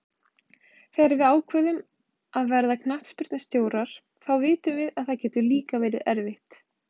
Þegar við ákveðum að verða knattspyrnustjórar þá vitum við að það getur líka verið erfitt.